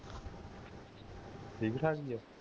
ਠੀਕ ਠਾਕ ਹੀ ਹੈ